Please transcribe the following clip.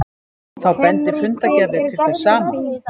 Þá bendi fundargerðir til þess sama